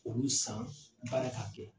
K'olu san baara k'a kɛ.